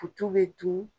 Futu bɛ dun